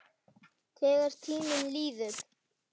Þegar tíminn líður